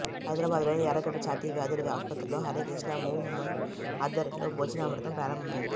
హైదరాబాద్ లోని ఎర్రగడ్డ ఛాతి వ్యాధుల ఆసుపత్రిలో హరేకృష్ణ మూవ్ మెంట్ ఆధ్వర్యంలో భోజనామృతం ప్రారంభమైంది